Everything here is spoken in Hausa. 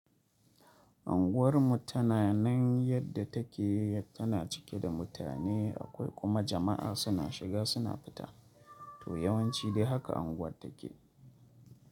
Anguwar mu tana nan yadda take tana cike da mutane akwai kuma jama'a suna shiga suna fita. To yawanci dai haka anguwar take.